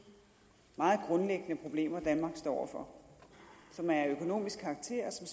meget grundlæggende problemer danmark står over for som er af økonomisk karakter og